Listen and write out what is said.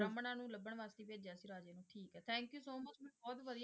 ਬ੍ਰਾਹਮਣਾਂ ਨੂੰ ਲੱਭਣ ਵਾਸਤੇ ਭੇਜਿਆ ਸੀ ਰਾਜੇ ਨੇ ਠੀਕ ਹੈ thank you so much ਮੈਨੂੰ ਬਹੁਤ ਵਧੀਆ,